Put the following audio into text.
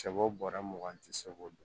Sɛbo bɔra mugan tɛ se k'o dɔn